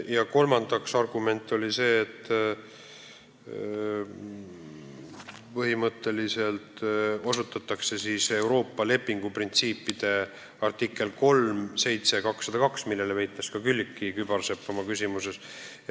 Ja kolmanda argumendina osutati Euroopa lepingu printsiipidele, millele viitas ka Külliki Kübarsepp oma küsimuses.